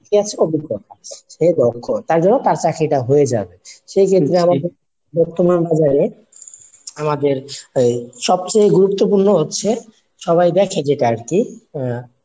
Plus অভিজ্ঞ সে দক্ষ তার জন্য তার চাকরি টা হয়ে যাবে। সেক্ষেত্রে আমাদের বর্তমান বাজার এ আমাদের এই সবকিছুর গুরুত্বপূর্ণ হচ্ছে সবাই দেখে যেটা আরকি